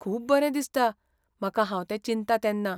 खूब बरें दिसता म्हाका हांव तें चिंत्ता तेन्ना.